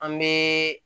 An bɛ